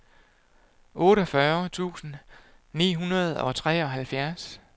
otteogfyrre tusind ni hundrede og treoghalvtreds